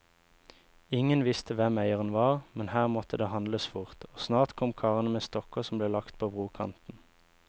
Ingen visste hvem eieren var, men her måtte det handles fort, og snart kom karene med stokker som ble lagt på brokanten.